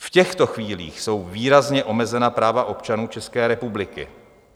V těchto chvílích jsou výrazně omezena práva občanů České republiky.